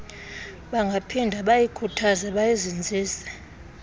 bangaphinda bayikhuthaze bayizinzise